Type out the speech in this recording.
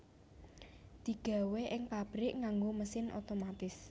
Digawé ing pabrik nganggo mesin otomatis